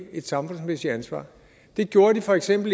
et samfundsmæssigt ansvar det gjorde de for eksempel